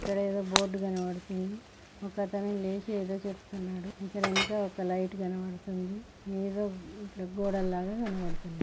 ఇక్కడ ఏదో బోర్డు కనబడుతుంది ఒకతను లేచి ఏదో చెప్తున్నాడు ఇక్కడ ఎనుక ఒక లైట్ కనబడుతుంది ఎదో గోడల్లాగా కనబడుతున్నాయి.